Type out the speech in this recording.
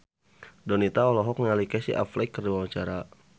Donita olohok ningali Casey Affleck keur diwawancara